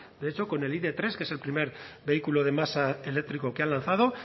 de hecho con el idtres que es el primer vehículo de masa eléctrico que han lanzado